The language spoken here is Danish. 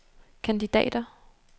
kandidater